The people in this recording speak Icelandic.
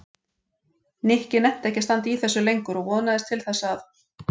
Nikki nennti ekki að standa í þessu lengur og vonaðist til þess að